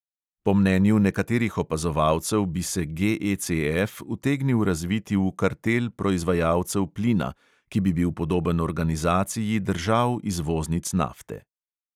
Po mnenju nekaterih opazovalcev bi se GECF utegnil razviti v kartel proizvajalcev plina, ki bi bil podoben organizaciji držav izvoznic nafte.